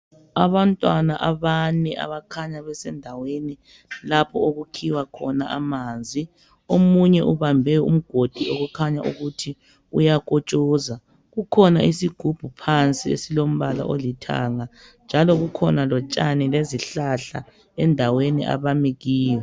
Abantwana abane abakhanya besendaweni lapha okukhiwa khona amanzi. Omunye ubambe umgodi okukhanya ukuthi uyakotshoza kukhona isigubhu phansi esilombala olithanga njalo kukhona lotshani lezihlahla endaweni abami kiyo.